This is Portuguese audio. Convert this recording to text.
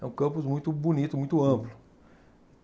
É um campus muito bonito, muito amplo.